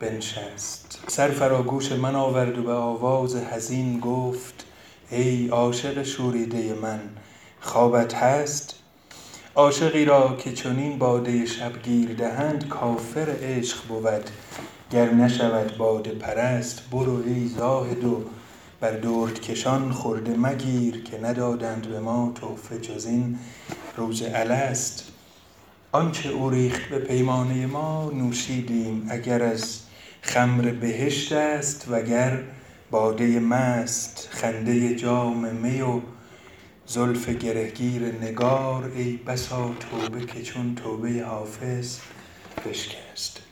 بنشست سر فرا گوش من آورد به آواز حزین گفت ای عاشق دیرینه من خوابت هست عاشقی را که چنین باده شبگیر دهند کافر عشق بود گر نشود باده پرست برو ای زاهد و بر دردکشان خرده مگیر که ندادند جز این تحفه به ما روز الست آن چه او ریخت به پیمانه ما نوشیدیم اگر از خمر بهشت است وگر باده مست خنده جام می و زلف گره گیر نگار ای بسا توبه که چون توبه حافظ بشکست